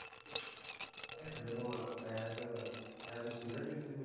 ਦੇਖੋ as a as a student ਤੁਸੀਂ